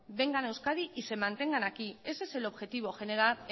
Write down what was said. vengan a euskadi y se mantengan aquí ese es el objetivo generar